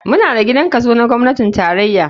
Muna da gidan kaso na gwamnatin tarraya.